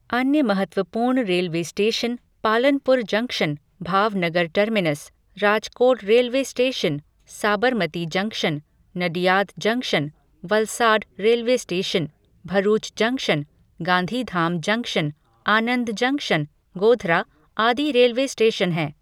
अन्य महत्वपूर्ण railway station Palanpur junction, Bhavnagar terminus, Rajkot railway station, Sabarmati junction, Nadiad junction, Valsad railway station, Bharuch junction, Gandhidham junction, Anand junction, Godhra आदि railway station हैं।